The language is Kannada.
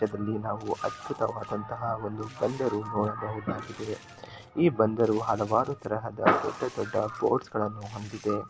ದೃಶ್ಯದಲ್ಲಿ ನಾವು ಅದ್ಭುತವಾದಂತಹ ಒಂದು ಬಂದರು ನೋಡಬಹುದಾಗಿದೆ ಈ ಬಂದರು ಹಲವಾರು ತರಹದ ದೊಡ್ಡ ದೊಡ್ಡ ಪೋರ್ಟ್ಸ್ಗಳನ್ನು ಹೊಂದಿದೆ.